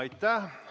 Aitäh!